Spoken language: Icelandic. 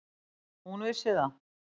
Hún vissi það.